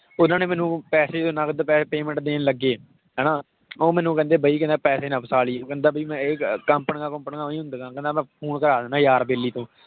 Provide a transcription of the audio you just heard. ਉਹਨਾਂ ਨੇ ਮੈਨੂੰ ਪੈਸੇ ਜਦੋਂ ਨਕਦ ਪੈ~ payment ਦੇਣ ਲੱਗੇ ਹਨਾ ਉਹ ਮੈਨੂੰ ਕਹਿੰਦੇ ਬਈ ਕਿੱਥੇ ਪੈਸੇ ਨਾ ਫਸਾ ਲਈ ਉਹ ਕਹਿੰਦਾ ਵੀ ਮੈਂ ਇਹ ਅਹ ਕੰਪਨੀਆਂ ਕੁੰਪਨੀਆਂ ਊਂਈ ਹੁੰਦੀਆਂ ਕਹਿੰਦਾ ਮੈਂ phone ਕਰਵਾ ਦਿਨਾ ਯਾਰ ਬੈਲੀ ਤੋਂ